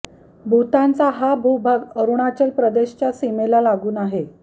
भूतानचा हा भूभाग अरुणाचल प्रदेशच्या सीमेला लागून आहे